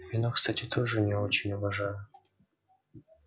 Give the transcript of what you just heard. вино кстати тоже не очень уважаю